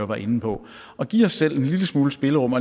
var inde på at give os selv en lille smule spillerum